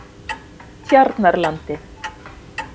Tjarnarlandi